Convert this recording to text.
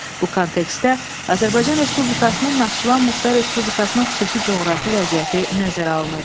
Bu kontekstdə Azərbaycan Respublikasının Naxçıvan Muxtar Respublikasının xüsusi coğrafi vəziyyəti nəzərə alınacaq.